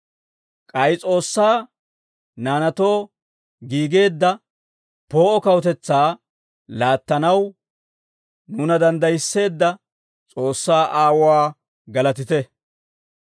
K'ay S'oossaa naanaatoo giigeedda poo'o kawutetsaa laattanaw, nuuna danddayisseedda S'oossaa Aawuwaa galatite.